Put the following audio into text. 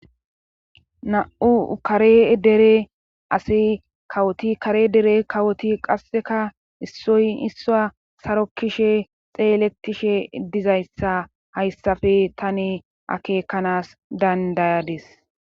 Na'u kare dere asi kawoti kare dere kawoti qasseka issoy issaa sarokkishe xeeletishe dizayssa hayssafe tani akeekanas dandayadis